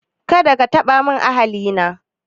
Kada ka taba min ahali na